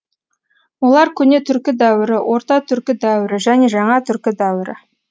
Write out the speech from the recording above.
олар көне түркі дәуірі орта түркі дәуірі және жаңа түркі дәуірі